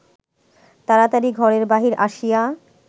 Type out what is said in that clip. তাড়াতাড়ি ঘরের বাহির আসিয়া